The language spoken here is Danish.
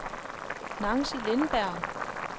Nancy Lindberg